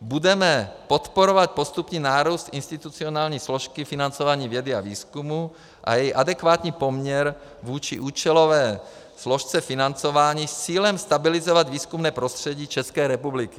Budeme podporovat postupný nárůst institucionální složky financování vědy a výzkumu a její adekvátní poměr vůči účelové složce financování s cílem stabilizovat výzkumné prostředí České republiky.